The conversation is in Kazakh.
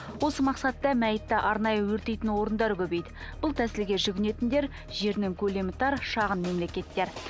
осы мақсатта мәйтті арнайы өртейтін орындар көбейді бұл тәсілге жүгінетіндер жерінің көлемі тар шағын мемлекеттер